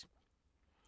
DR1